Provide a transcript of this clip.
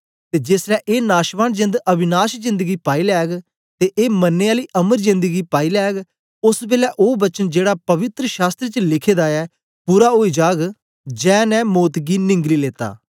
ते जेसलै ए नाशवान जेंद अविनाशी जेंद गी पाई लैग ते ए मरने आली अमर जेंद गी पाई लैग ओस बेलै ओ वचन जेड़ा पवित्र शास्त्र च लिखे दा ऐ पूरा ओई जाग जै ने मौत गी निंगली लेता